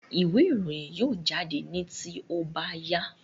Ìwé ìròyìn yóò jáde ní tí ó bá yá